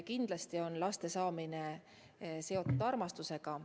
Kindlasti on laste saamine seotud armastusega.